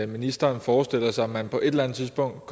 ministeren forestiller sig man på et eller andet tidspunkt